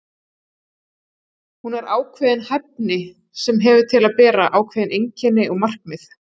Hún er ákveðin hæfni sem hefur til að bera ákveðin einkenni og markmið.